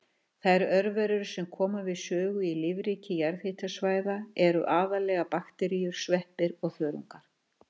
Þær örverur sem koma við sögu í lífríki jarðhitasvæða eru aðallega bakteríur, sveppir og þörungar.